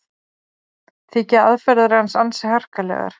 Þykja aðferðir hans ansi harkalegar